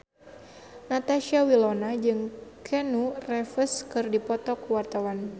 Natasha Wilona jeung Keanu Reeves keur dipoto ku wartawan